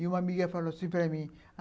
E uma amiga falou assim para mim.